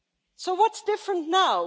So what is different now?